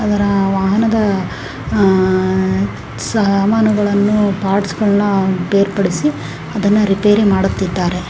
ಅದರ ವಾಹನದ ಆ ಸಾಮಾನುಗಳನ್ನು ಪಾರ್ಟ್ಸ್ ಗಳನ್ನು ಬೇರ್ಪಡಿಸಿ ಅದನ್ನ ರಿಪೇರಿ ಮಾಡುತ್ತಿದ್ದಾರೆ.